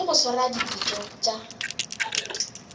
le go swara dipitšo tša